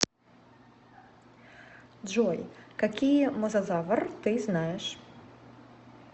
джой какие мозазавр ты знаешь